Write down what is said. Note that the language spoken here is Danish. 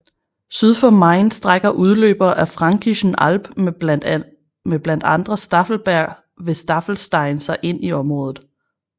Syd for Main strækker udløbere af Fränkischen Alb med blandt andre Staffelberg ved Staffelstein sig ind i området